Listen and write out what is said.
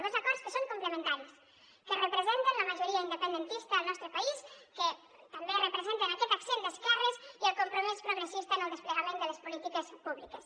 dos acords que són complementaris que representen la majoria independentista al nostre país que també representen aquest accent d’esquerres i el compromís progressista en el desplegament de les polítiques públiques